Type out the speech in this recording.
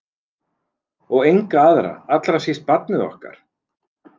Og enga aðra- allra síst barnið okkar.